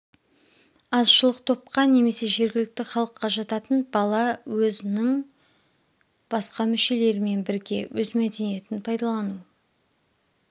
азшылық топқа немесе жергілікті халыққа жататын бала өз ның басқа мүшелерімен бірге өз мәдениетін пайдалану